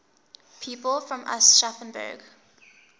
people from aschaffenburg